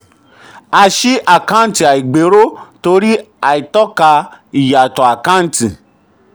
a ṣí àkáǹtì ìṣàgbéró torí àìtọ́ka ìyàtọ̀ àkántì.